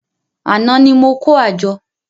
Àná ni mo kó àjọ